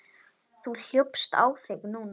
Þú hljópst á þig núna.